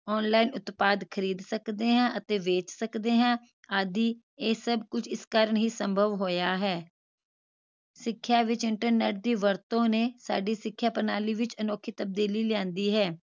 online ਉਤਪਾਦ ਪ੍ਰਾਪਤ ਕਰ ਸਕਦੇ ਹਾਂ ਅਤੇ ਵੇਚ ਸਕਦੇ ਹਾਂ ਆਦਿ ਇਹ ਸਭ ਕੁਝ ਇਸ ਕਾਰਣ ਹੀ ਸੰਭਵ ਹੋਇਆ ਹੈ ਸਿਖਿਆ ਵਿਚ internet ਦੀ ਵਰਤੋਂ ਨੇ ਸਾਡੀ ਸਿਖਿਆ ਪ੍ਰਣਾਲੀ ਵਿਚ ਅਨੋਖੀ ਤਬਦੀਲੀ ਲਿਆਂਦੀ ਹੈ